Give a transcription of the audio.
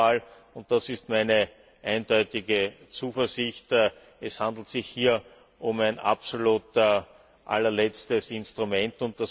Aber nochmals, und das ist meine eindeutige Zuversicht Es handelt sich hier um ein absolut allerletztes Instrument.